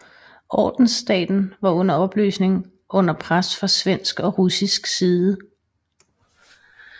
Ordensstaten var under opløsning under pres fra svensk og russisk side